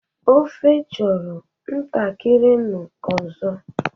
Ofe chọrọ ntakịrị nnu ọzọ.